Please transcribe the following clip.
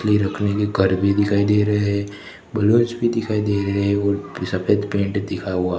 play रखने के card भी दिखाई दे रहे हैं बलोच भी दिखाई दे रहे हैं और सफेद पेंट दिखा हुआ--